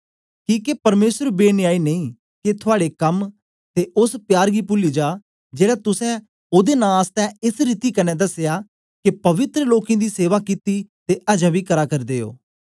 किके परमेसर बेन्यायी नेई के थुआड़े कम ते ओस प्यार गी पूली जा जेड़ा तुसें ओदे नां आसतै एस रीति कन्ने दसया के पवित्र लोकें दी सेवा कित्ती ते अजें बी करा करदे ओ